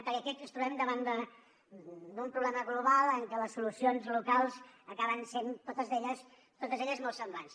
perquè crec que ens trobem davant d’un problema global en què les solucions locals acaben sent totes elles molt semblants